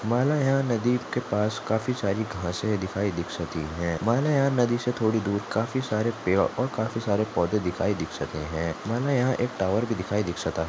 माला यहां नदी के पास काफी सारी घास दिखाई दीक्षित हैं माला यहां नदी से थोड़ी दूर काफी सारे पेड़ और काफी सारे पौधे दिखाई दीक्षित हैं माला यहां टावर भी दिखाई दीक्षिता--